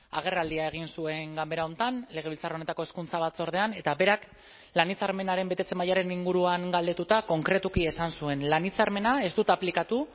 agerraldia egin zuen ganbera honetan legebiltzar honetako hezkuntza batzordean eta berak lan hitzarmenaren betetze mailaren inguruan galdetuta konkretuki esan zuen lan hitzarmena ez dut aplikatu